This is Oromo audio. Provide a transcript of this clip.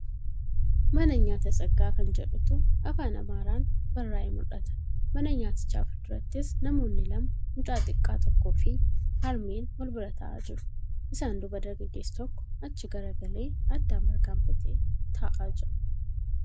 Mana nyaata Tsaggaa kan jedhutu Afaan Amaaraan barraa'ee mul'ata. Mana nyaatichaa fuuldurattis namoonni lama mucaa xiqqaa tokkoofi harmeen walbiraa taa'aa jiru. Isaan duuba dargaggeessi tokko achi garagalee addaan bargaaffatee taa'aa jira.